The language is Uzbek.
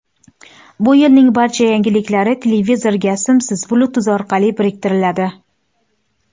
Bu yilning barcha yangiliklari televizorga simsiz Bluetooth orqali biriktiriladi.